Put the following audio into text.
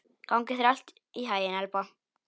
Gangi þér allt í haginn, Elba.